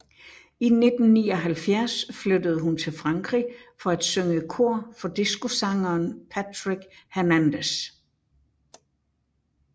I 1979 flyttede hun til Frankrig for at synge kor for discosangeren Patrick Hernandez